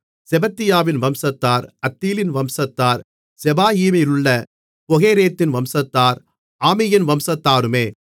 செபத்தியாவின் வம்சத்தார் அத்தீலின் வம்சத்தார் செபாயீமிலுள்ள பொகெரேத்தின் வம்சத்தார் ஆமியின் வம்சத்தாருமே